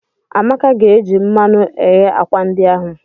Amaka ga-eji mmanụ eghe akwa ndi ahụ.